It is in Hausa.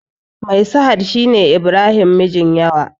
Mai sahad shine ibrahim mijin yawa